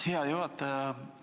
Aitäh, hea juhataja!